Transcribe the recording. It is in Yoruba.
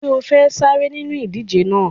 Ṣé o fẹ́ sáré nínú ìdíje náà?